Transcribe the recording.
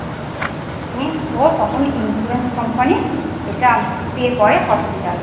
উম তখনই insurance Company এটা Pay করে Hospital কে